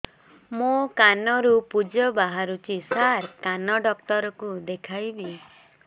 ମୋ କାନରୁ ପୁଜ ବାହାରୁଛି ସାର କାନ ଡକ୍ଟର କୁ ଦେଖାଇବି